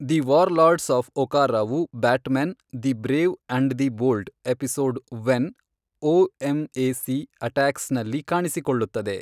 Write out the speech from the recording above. The warlords of ಒಕಾರಾವು Batman : the brave and the bold episode when O M A C attacks ನಲ್ಲಿ ಕಾಣಿಸಿಕೊಳ್ಳುತ್ತದೆ.